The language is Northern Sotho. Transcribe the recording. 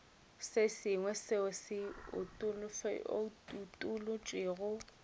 se sengwe seo se utolotšwego